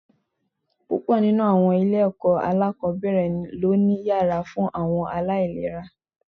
Púpọ̀ nínú àwọn ilé-ẹ̀kọ́ alákọ̀ọ́bẹ̀rẹ̀ ló ni yàrá fún àwọn aláìléra